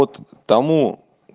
вот тому